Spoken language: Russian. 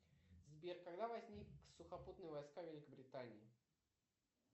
сбер когда возник сухопутные войска великобритании